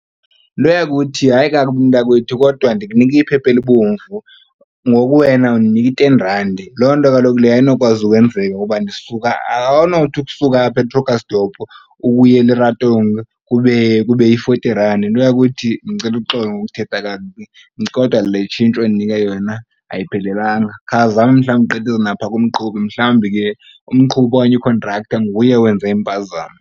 Nto yakuthi, hayi kakubi mntakwethu kodwa ndikunike iphepha elibomvu ngoku wena undinika iten randi. Loo nto kaloku leyo ayinokwazi ukwenzeka ngoba ndisuka awunothi ukusuka apha eKrugersdorp ukuya eLeratong kube yi-forty randi. Nto yakuthi ndicela uxolo ngokuthetha kakubi kodwa le itshintshi ondinika yona ayiphelelanga. Khawuzame mhlawumbi ugqithise napha kumqhubi mhlawumbi ke umqhubi okanye ikhontraktha nguye owenze impazamo.